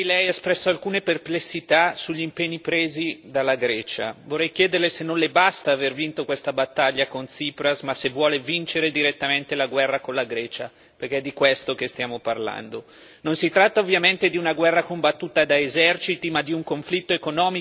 Signor Presidente, onorevoli colleghi, Presidente Draghi, ieri Lei ha espresso alcune perplessità sugli impegni presi dalla Grecia. Vorrei chiederle se non le basta aver vinto questa battaglia con Tsipras, ma se vuole vincere direttamente la guerra con la Grecia perché è di questo che stiamo parlando.